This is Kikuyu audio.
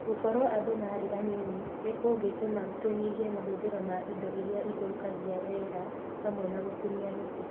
Gũkorũo andũ marĩ anini nĩ kũngĩtũma tũnyihie mahũthĩro ma indo iria ithũkagia rĩera hamwe na gũtinia mĩtĩ.